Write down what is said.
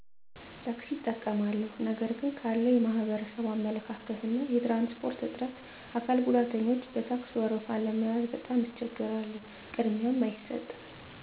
ታክሲ እጠቀማለሁ ነገር ግን ካለዉ የማህበረሰቡ አመለካከት እና የትራንስፖርት እጥረት አካል ጉዳተኞች በታክስ ወረፋ ለመያዝ በጣም እቸገራለሁ ቅድሚያም አይሰጥም